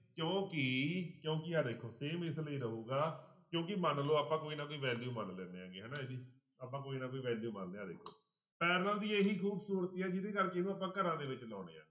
ਕਿਉਂਕਿ ਕਿਉਂਕਿ ਆਹ ਦੇਖੋ same ਇਸ ਲਈ ਰਹੇਗਾ ਕਿਉਂਕਿ ਮੰਨ ਲਓ ਆਪਾਂ ਕੋਈ ਨਾ ਕੋਈ value ਮੰਨ ਲੈਂਦੇ ਹੈਗੇ ਹਨਾ ਇਹਦੀ, ਆਪਾਂ ਕੋਈ ਨਾ ਕੋਈ value ਮੰਨਦੇ ਹਾਂ ਆਹ ਦੇਖੋ parallel ਦੀ ਇਹੀ ਖੂਬਸੂਰਤੀ ਆ ਜਿਹਦੇ ਕਰਕੇ ਇਹਨੂੰ ਆਪਾਂ ਘਰਾਂ ਦੇ ਵਿੱਚ ਲਾਉਂਦੇ ਹਾਂ।